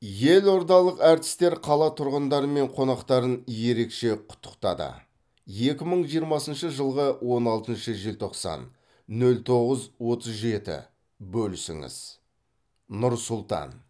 елордалық әртістер қала тұрғындары мен қонақтарын ерекше құттықтады екі мың жиырмасыншы жылғы он алтыншы желтоқсан нөл тоғыз отыз жеті бөлісіңіз нұр сұлтан